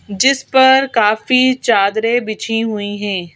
जिस पर काफी चादरें बिछी हुई हैं।